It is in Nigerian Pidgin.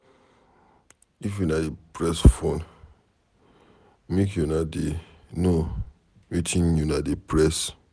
If una dey press phone make una dey no wetin una dey press.